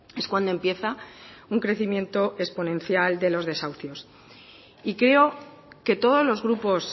es cuando empieza un crecimiento exponencial de los desahucios y creo que todos los grupos